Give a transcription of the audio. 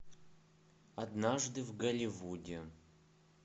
однажды в голливуде